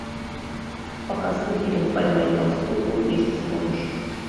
показывай фильм поймай толстуху если сможешь